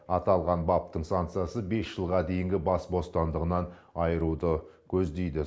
аталған баптың санкциясы бес жылға дейінгі бас бостандығынан айыруды көздейді